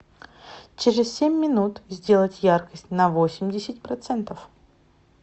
через семь минут сделать яркость на восемьдесят процентов